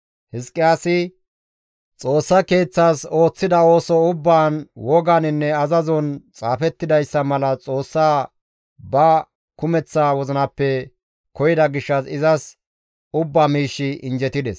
Hizqiyaasi Xoossaa keeththas ooththida ooso ubbaan woganinne azazon xaafettidayssa mala Xoossaa ba kumeththa wozinappe koyida gishshas izas ubba miishshi injjetides.